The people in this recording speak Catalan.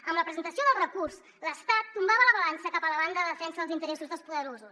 amb la presentació del recurs l’estat tombava la balança cap a la banda de defensa dels interessos dels poderosos